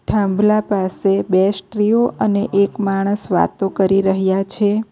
થાંભલા પાસે બે સ્ત્રીઓ અને એક માણસ વાતો કરી રહ્યા છે.